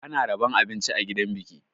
Ana rabon abinci a gidan biki.